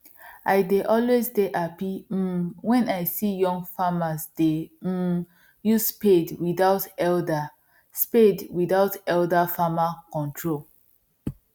i dey always dey happy um wen i see young farmers dey um use spade without elder spade without elder farmer control